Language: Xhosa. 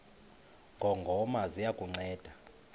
ngongoma ziya kukunceda